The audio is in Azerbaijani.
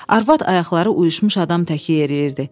Arvad ayaqları uyuşmuş adam təki yeriyirdi.